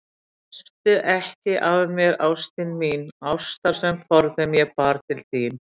Krefstu ekki af mér, ástin mín, ástar sem forðum ég bar til þín